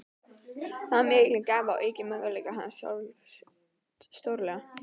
Það var mikil gæfa og yki möguleika hans sjálfs stórlega.